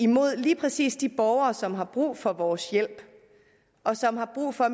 mod lige præcis de borgere som har brug for vores hjælp og som har brug for